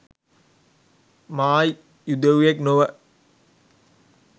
මා යුදෙව්වෙක් නොව